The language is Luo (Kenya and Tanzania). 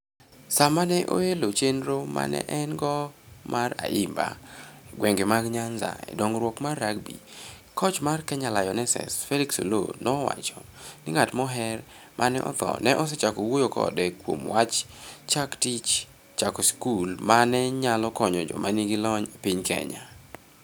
Sama ne oelo chenro ma ne en - go mar (Ayimba) e gwenge mag Nyanza e dongruok mar rugby, koch mar Kenya Lionesses Felix Oloo nowacho ni ng'at moher ma ne otho ne osechako wuoyo kode kuom wach chak tij chako skul ma ne nyalo konyo joma nigi lony e piny Kenya.